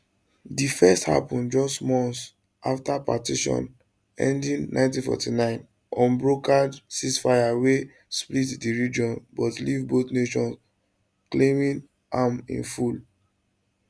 di first happun just months afta partition ending 1949 unbrokered ceasefire wey split di region but leave both nations claiming am in full